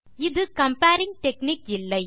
இது comparing technique இல்லை